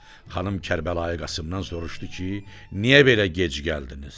Xanım Kərbəlayı Qasımdan soruşdu ki, niyə belə gec gəldiniz?